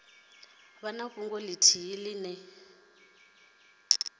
vha na fhungo ithihi ine